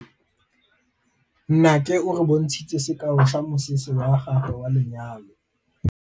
Nnake o re bontshitse sekaô sa mosese wa gagwe wa lenyalo.